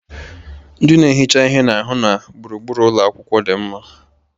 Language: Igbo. Ndị na-ehicha ihe na-ahụ na gburugburu ụlọ akwụkwọ dị mma